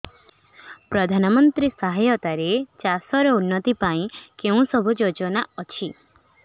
ପ୍ରଧାନମନ୍ତ୍ରୀ ସହାୟତା ରେ ଚାଷ ର ଉନ୍ନତି ପାଇଁ କେଉଁ ସବୁ ଯୋଜନା ଅଛି